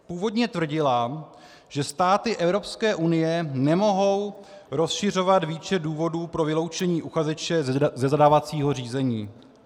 Původně tvrdila, že státy EU nemohou rozšiřovat výčet důvodů pro vyloučení uchazeče ze zadávacího řízení.